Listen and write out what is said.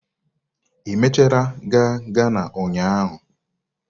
Ị mechara gaa Ghana ụnyahụ?